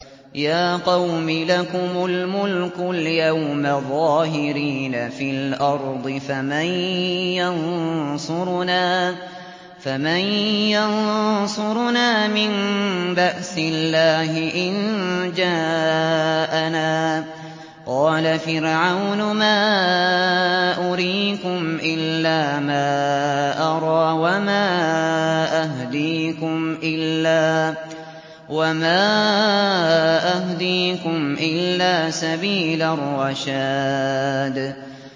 يَا قَوْمِ لَكُمُ الْمُلْكُ الْيَوْمَ ظَاهِرِينَ فِي الْأَرْضِ فَمَن يَنصُرُنَا مِن بَأْسِ اللَّهِ إِن جَاءَنَا ۚ قَالَ فِرْعَوْنُ مَا أُرِيكُمْ إِلَّا مَا أَرَىٰ وَمَا أَهْدِيكُمْ إِلَّا سَبِيلَ الرَّشَادِ